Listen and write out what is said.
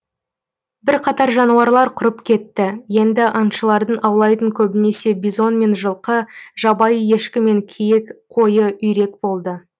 бірқатар жануарлар құрып кетті енді аңшылардың аулайтын көбінесе бизон мен жылқы жабайы ешкі мен киік койы үйрек болды